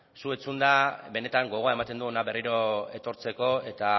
zu entzunda benetan gogoa ematen du hona berriro etortzeko eta